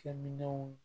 Kɛminɛnw